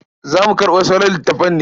Za mu karɓo sauran littafan ne?